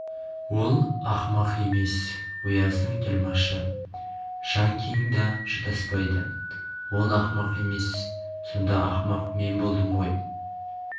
ол ақымақ емес ояздың тілмашы жаңкин да шатаспайды ол ақымақ емес сонда ақымақ мен болдым ғой